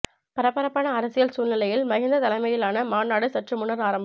பரபரப்பான அரசியல் சூழ்நிலையில் மஹிந்த தலைமையிலான மாநாடு சற்று முன்னர் ஆரம்பம்